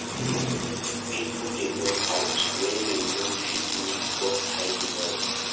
Pipo dey burn out wen dem no fit meet dem boss's high demands.